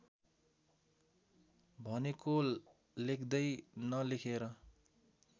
भनेको लेख्दै नलेखेर